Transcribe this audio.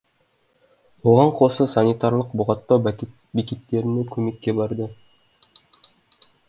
оған қоса санитарлық бұғаттау бекеттеріне көмекке барады